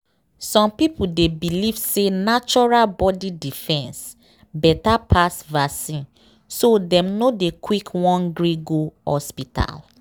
some people dey believe say natural body defense better pass vaccine so dem no dey quick won gree go hospital.